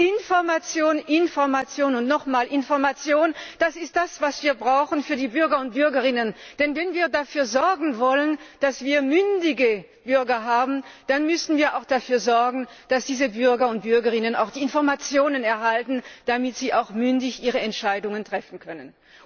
Information, Information und nochmals Information ist das, was wir brauchen für die Bürger und Bürgerinnen. Denn wenn wir dafür sorgen wollen, dass wir mündige Bürger haben, dann müssen wir auch dafür sorgen, dass diese Bürger und Bürgerinnen auch die Informationen erhalten, damit sie auch mündig ihre Entscheidungen treffen können.